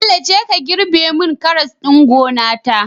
Bello jeka ka girbe mun karas ɗin gona ta